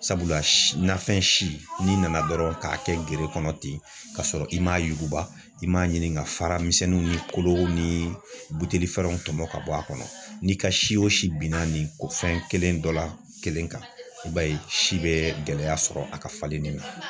Sabula nafɛn si n'i nana dɔrɔn k'a kɛ gere kɔnɔ ten ka sɔrɔ i m'a yuguba i m'a ɲini ka fara misɛnninw ni kolo ni buteli fɛrɛnw tɔmɔ ka bɔ a kɔnɔ n'i ka si o si binna nin ko fɛn kelen dɔ la kelen kan i b'a ye si bɛ gɛlɛya sɔrɔ a ka falenni na.